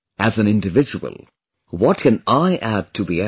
As an individual, what can I add to the effort